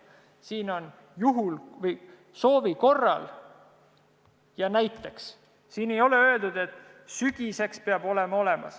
" Siin on öeldud "soovi korral" ja "näiteks", siin ei ole öeldud, et sügiseks peab olemas olema.